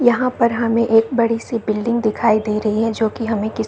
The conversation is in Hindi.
यहाँ पर हमें एक बड़ी सी बिल्डिंग दिखाई दे रही है जो की हमें कि --